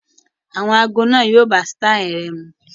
Àwọn ago náà yo bá sítáì rẹ mu